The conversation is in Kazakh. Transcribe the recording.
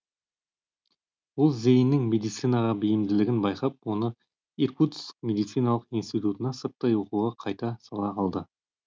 ол зеиннің медицинаға бейімділігін байқап оны иркутск медициналық институтына сырттай оқуға қайта сала алды